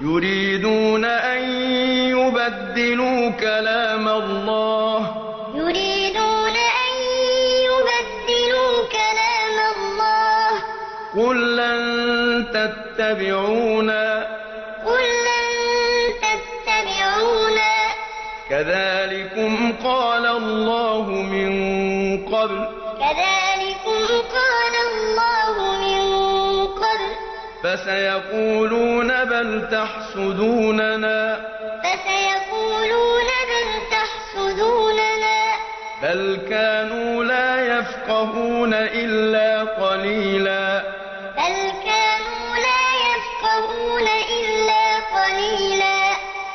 يُرِيدُونَ أَن يُبَدِّلُوا كَلَامَ اللَّهِ ۚ قُل لَّن تَتَّبِعُونَا كَذَٰلِكُمْ قَالَ اللَّهُ مِن قَبْلُ ۖ فَسَيَقُولُونَ بَلْ تَحْسُدُونَنَا ۚ بَلْ كَانُوا لَا يَفْقَهُونَ إِلَّا قَلِيلًا سَيَقُولُ الْمُخَلَّفُونَ إِذَا انطَلَقْتُمْ إِلَىٰ مَغَانِمَ لِتَأْخُذُوهَا ذَرُونَا نَتَّبِعْكُمْ ۖ يُرِيدُونَ أَن يُبَدِّلُوا كَلَامَ اللَّهِ ۚ قُل لَّن تَتَّبِعُونَا كَذَٰلِكُمْ قَالَ اللَّهُ مِن قَبْلُ ۖ فَسَيَقُولُونَ بَلْ تَحْسُدُونَنَا ۚ بَلْ كَانُوا لَا يَفْقَهُونَ إِلَّا قَلِيلًا